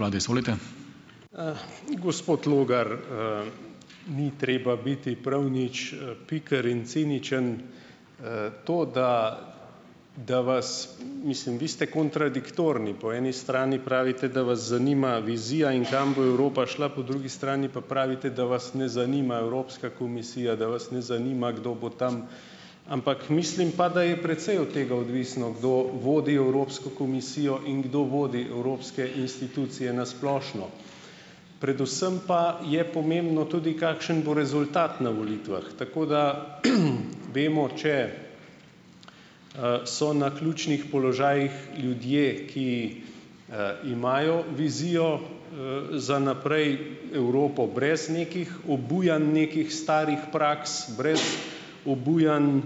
vlade, izvolite. gospod Logar, ni treba biti prav nič, piker in ciničen. to, da da vas, mislim, vi ste kontradiktorni. Po eni strani pravite, da vas zanima vizija in kam bo Evropa šla, po drugi strani pa pravite, da vas ne zanima Evropska komisija, da vas ne zanima, kdo bo tam, ampak mislim pa, da je precej od tega odvisno, kdo vodi Evropsko komisijo in kdo vodi evropske institucije na splošno. Predvsem pa je pomembno tudi, kakšen bo rezultat na volitvah. Tako da, vemo, če, so na ključnih položajih ljudje, ki, imajo vizijo, za naprej, Evropo brez nekih obujanj nekih starih praks, brez obujanj,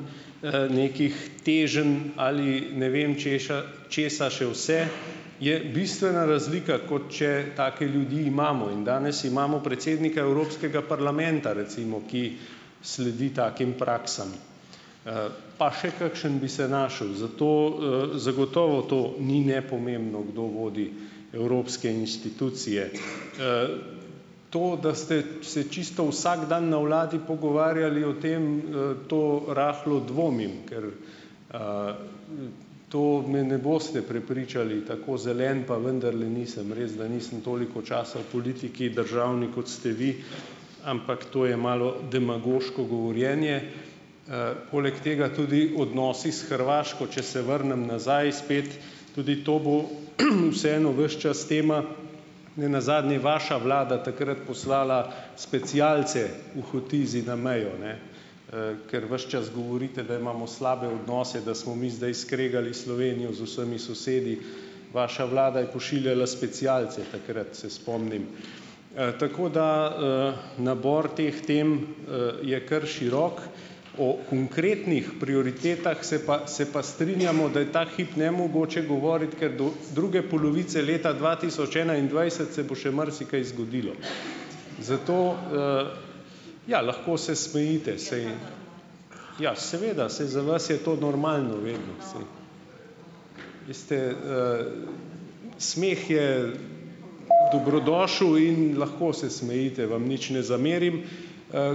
nekih teženj ali ne vem češa česa še vse , je bistvena razlika, kot če take ljudi imamo. In danes imamo predsednika Evropskega parlamenta recimo, ki sledi takim praksam. pa še kakšno bi se našel. Zato, zagotovo to ni nepomembno, kdo vodi evropske institucije, To, da ste se čisto vsak dan na vladi pogovarjali o tem, to rahlo dvomim, ker, to me ne boste prepričali, tako zelen pa vendarle nisem. Res da nisem toliko časa v politiki državni kot ste vi, ampak to je malo demagoško govorjenje. poleg tega tudi odnosi s Hrvaško, če se vrnem nazaj spet, tudi to bo, vseeno ves čas tema, ne nazadnje vaša vlada takrat poslala specialce v Hotizi na mejo, ne, ker ves čas govorite, da imamo slabe odnose, da smo mi zdaj skregali Slovenijo z vsemi sosedi. Vaša vlada je pošiljala specialce takrat, se spomnim. tako da, nabor teh tem, je kar širok. O prioritetah se pa se pa strinjamo, da je ta hip nemogoče govoriti, ker do druge polovice leta dva tisoč enaindvajset se bo še marsikaj zgodilo. Zato, ja, lahko se smejite, saj ja seveda, saj za vas je to normalno vedno saj. Veste, smeh je dobrodošel in lahko se smejite, vam nič ne zamerim.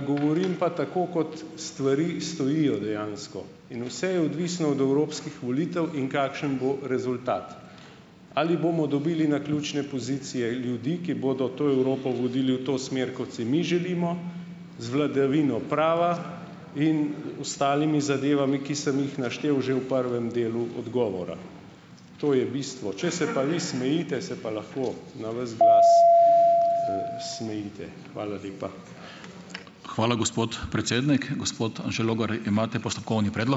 govorim pa tako, kot stvari stojijo dejansko. In vse je odvisno od evropskih volitev in kakšen bo rezultat. Ali bomo dobili naključne pozicije, ljudi, ki bodo to Evropo vodili v to smer, kot si mi želimo, z vladavino prava in, ostalimi zadevami, ki sem jih naštel že v prvem delu odgovora. To je bistvo. Če se pa vi smejite , se pa lahko na ves glas, smejite. Hvala lepa. Hvala, gospod predsednik, gospod Anže Logar, imate postopkovni ...